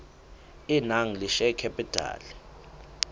e nang le share capital